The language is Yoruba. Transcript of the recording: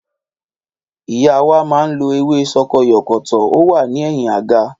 Ìyá wá máa lo ewé sokoyòkòtò, ó wà ní ẹ̀yin àga